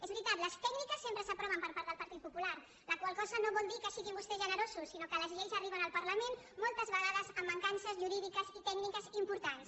és veritat les tècniques sempre s’aproven per part del partit popular la qual cosa no vol dir que siguin vostès generosos sinó que les lleis arriben al parlament moltes vegades amb mancances jurídiques i tècniques importants